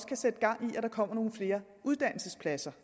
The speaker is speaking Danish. kan sætte gang i at der kommer nogle flere uddannelsespladser